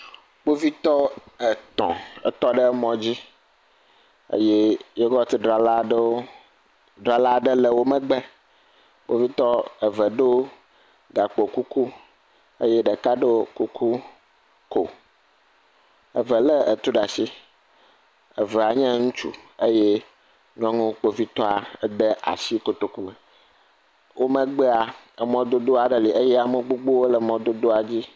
Kpovitɔ etɔ̃ etɔ ɖe mɔdzi eye yogɔt dzrala ɖe le wo megbe. Kpovitɔ eve ɖo gakpo kuku eye ɖeka ɖo kuku ko. Eve le etu ɖa shi. Evea nye ŋutsu eye nyɔŋu Kpovitɔa de ashi kotoku me. Wo megbea, emɔdodo aɖe li eye ame gbogbowo le mɔdodoa dzi.